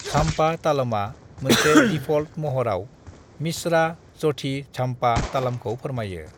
Zampa तालमआ मोनसे default महराव मिसरा-जठी झाम्पा तलामखौ फोरमायो।